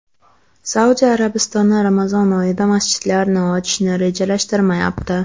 Saudiya Arabistoni Ramazon oyida masjidlarni ochishni rejalashtirmayapti.